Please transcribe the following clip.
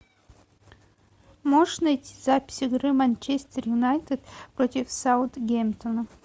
можешь найти запись игры манчестер юнайтед против саутгемптона